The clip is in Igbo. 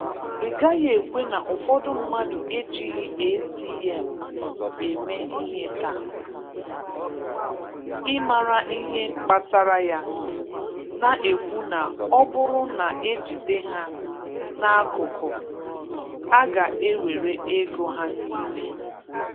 Ị gaghị ekwe na ụfọdụ mmadụ ejighị ATM eme ihe taa, ị mara ihe kpatara ya, na-ekwu na ọ bụrụ n' e jide ha n' akụkụ, a ga-ewere ego ha niile.